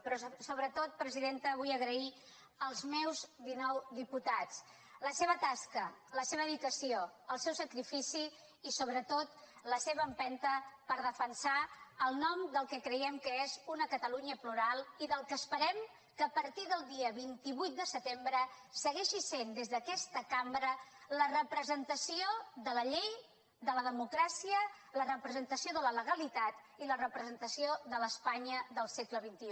però sobretot presidenta vull agrair als meus dinou diputats la seva tasca la seva dedicació el seu sacrifici i sobretot la seva empenta per defensar el nom del que creiem que és una catalunya plural i del que esperem que a partir del dia vint vuit de setembre segueixi sent des d’aquesta cambra la representació de la llei de la democràcia la representació de la legalitat i la representació de l’espanya del segle xxi